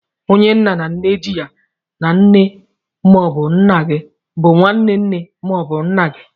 Onye nne na nna ji ya na nne ma ọbụ nna gị bụ nwaane nne ma ọ bụ nna gị.